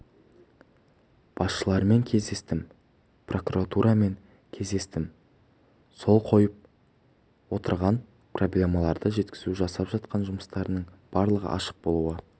басшыларымен кездестім прокуратурамен кездестім сол қойып отырған проблемаларды жеткізу жасап жатқан жұмыстардың барлығы ашық болуы